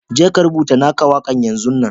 Je ka rubutta na ka waka yanzun nan!